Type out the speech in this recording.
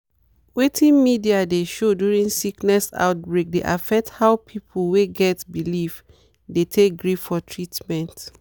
wetin media dey show during sickness outbreak dey affect how people wey get belief dey take gree for treatment.